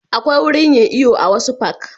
Akwai wurin yin iyo a wasu fak